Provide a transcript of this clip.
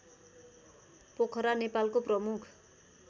पोखरा नेपालको प्रमुख